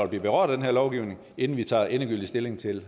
blive berørt af den her lovgivning kommer inden vi tager endegyldigt stilling til